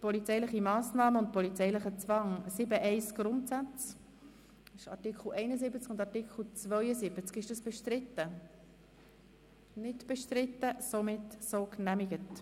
Polizeiliche Massnahmen und polizeilicher Zwang 7.1 Grundsätze Art. 71, 72 Angenommen